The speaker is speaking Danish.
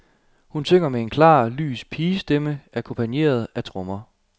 Hun synger med en klar, lys pigestemme akkompagneret af trommer.